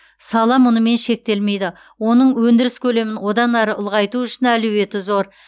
сала мұнымен шектелмейді оның өндіріс көлемін одан әрі ұлғайту үшін әлеуеті зор